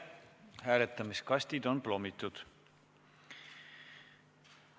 Hääletamiskastid on plommitud.